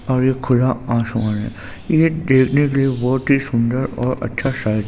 और एक खुला आसमान है ये देखने के लिए बहुत ही सुंदर और अच्छा साइड --